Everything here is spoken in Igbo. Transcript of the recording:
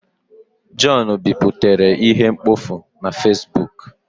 John biputere ihe mkpofu na Fesbuk